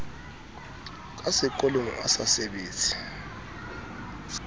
ka sekotlolo a sa sebetse